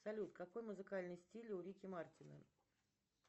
салют какой музыкальный стиль у рики мартина